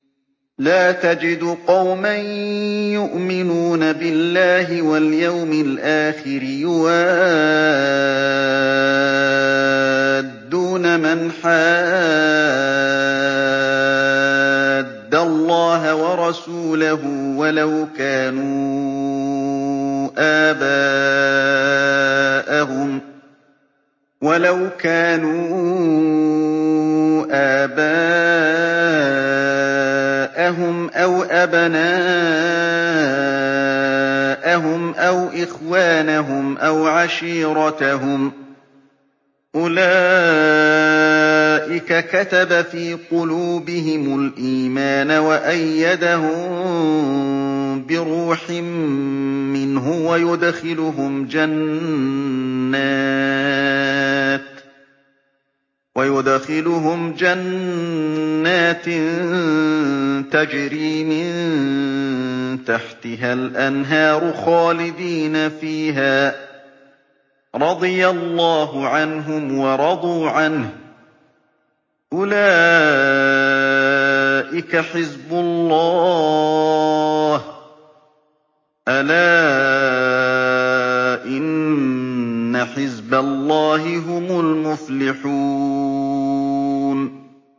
لَّا تَجِدُ قَوْمًا يُؤْمِنُونَ بِاللَّهِ وَالْيَوْمِ الْآخِرِ يُوَادُّونَ مَنْ حَادَّ اللَّهَ وَرَسُولَهُ وَلَوْ كَانُوا آبَاءَهُمْ أَوْ أَبْنَاءَهُمْ أَوْ إِخْوَانَهُمْ أَوْ عَشِيرَتَهُمْ ۚ أُولَٰئِكَ كَتَبَ فِي قُلُوبِهِمُ الْإِيمَانَ وَأَيَّدَهُم بِرُوحٍ مِّنْهُ ۖ وَيُدْخِلُهُمْ جَنَّاتٍ تَجْرِي مِن تَحْتِهَا الْأَنْهَارُ خَالِدِينَ فِيهَا ۚ رَضِيَ اللَّهُ عَنْهُمْ وَرَضُوا عَنْهُ ۚ أُولَٰئِكَ حِزْبُ اللَّهِ ۚ أَلَا إِنَّ حِزْبَ اللَّهِ هُمُ الْمُفْلِحُونَ